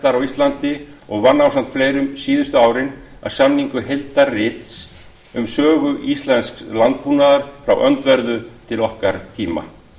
æðarræktar á íslandi og vann ásamt fleirum síðustu árin að samningu heildarrits um sögu íslensks landbúnaðar frá öndverðu til okkar tíma